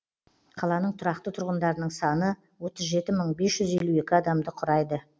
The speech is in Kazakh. қаланың тұрақты тұрғындарының саны отыз жеті мың бес жүз елу екі адамды құрайды